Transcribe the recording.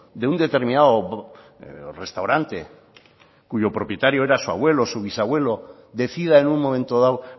de un determinado restaurante cuyo propietario era su abuelo su bisabuelo decida en un momento dado